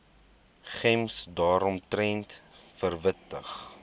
gems daaromtrent verwittig